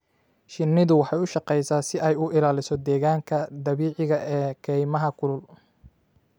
Shinnidu waxay u shaqeysaa si ay u ilaaliso deegaanka dabiiciga ah ee kaymaha kulul.